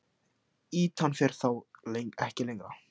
Ýtan fer þá ekki lengra.